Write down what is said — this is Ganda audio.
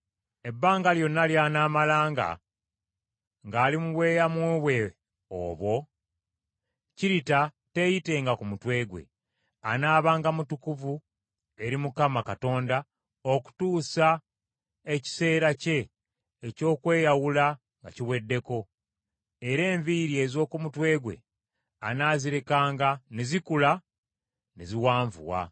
“Ebbanga lyonna ly’anaamalanga ng’ali mu bweyamo bwe obwo, kkirita teyitenga ku mutwe gwe. Anaabanga mutukuvu eri Mukama Katonda okutuusa ekiseera kye eky’okweyawula nga kiweddeko; era enviiri ez’oku mutwe gwe anaazirekanga ne zikula ne ziwanvuwa.